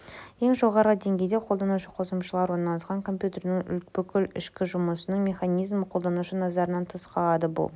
ең жоғарғы деңгейде қолданушы қосымшалары орналасқан компьютердің бүкіл ішкі жұмысының механизмі қолданушы назарынан тыс қалады бұл